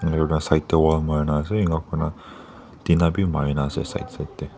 aru na side te wall mari na ase ena koi na tina be Mari na ase side side teh.